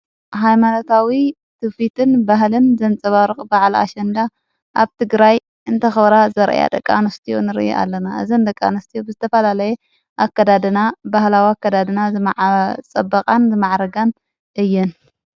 ኃይማኖታዊ ትፊትን በህልን ዘንጸባርቕ በዕልኣሸንዳ ኣብቲ ትግራይ እንተኽብራ ዘርአያ ደቃንስቲዩ ንር ኣለና እዝን ደቃንስቲ ብስተፋላለየ ኣከዳድና ባህላዊ ከዳድና ዝማዓጸበቓን ዝመዓረጋን እየን።